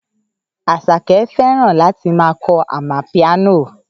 Àṣàkẹ́ fẹ́ràn láti ma kọ amapiano